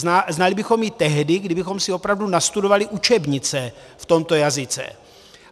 Znali bychom ji tehdy, kdybychom si opravdu nastudovali učebnice v tomto jazyce.